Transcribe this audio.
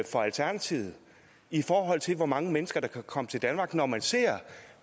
for alternativet i forhold til hvor mange mennesker der kan komme til danmark når man ser